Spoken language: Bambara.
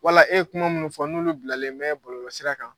Wala e ye kuma minnu fɔ n'olu bilalen bɛ bɔlɔlɔsira kan.